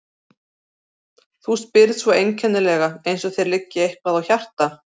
Þú spyrð svo einkennilega, eins og þér liggi eitthvað á hjarta.